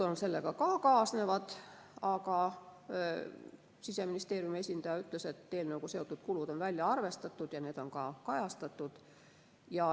Sellega kaasnevad ka kulud, aga Siseministeeriumi esindaja ütles, et eelnõuga seotud kulud on välja arvestatud ja need on ka kajastatud.